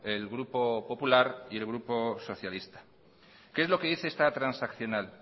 el grupo popular y el grupo socialista qué es lo que dice esta transaccional